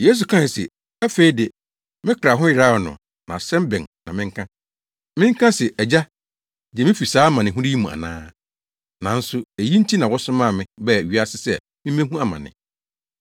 Yesu kae se, “Afei de, me kra ho yeraw no na asɛm bɛn na menka? Menka se, ‘Agya, gye me fi saa amanehunu yi mu ana?’ Nanso, eyi nti na wosomaa me baa wiase sɛ mimmehu amane.